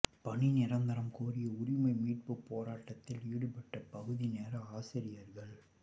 பணி நிரந்தரம் கோரி உரிமை மீட்பு போராட்டத்தில் ஈடுபட்ட பகுதி நேர ஆசிரியர்கள்